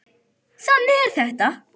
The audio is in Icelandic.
þannig er þetta